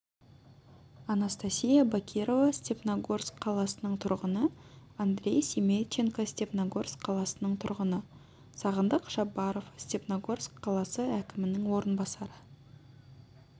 анастасия бакирова степногорск қаласының тұрғыны андрей семейченко степногорск қаласының тұрғыны сағындық шабаров степногорск қаласы әкімінің орынбасары